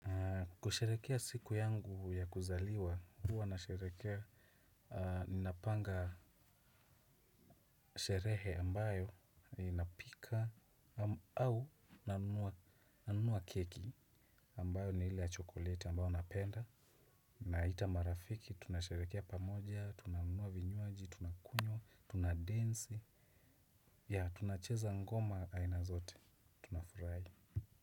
Kusherehekea siku yangu ya kuzaliwa huwa nasherehekea. Ninapanga sherehe ambayo inapika au nanunua keki ambayo ni ile ya chokoleti ambayo napenda. Naita marafiki tunasherehekea pamoja tunanunua vinywaji tunakunywa tunadensi ya tunacheza ngoma aina zote tunafurahi.